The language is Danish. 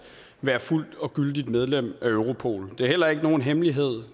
være fuldgyldigt medlem af europol det er heller ikke nogen hemmelighed